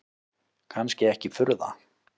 Kannski ekki furða.